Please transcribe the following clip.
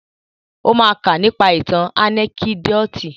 Ó ma ká nípa ìtàn ànẹ́kídòtì.